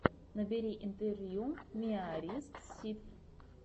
набери интервью миарисситв